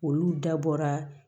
Olu dabɔra